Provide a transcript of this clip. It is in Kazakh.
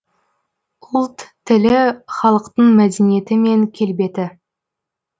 ұлт тілі халықтың мәдениеті мен келбеті